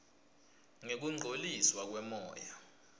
ngekungcoliswa kwemoya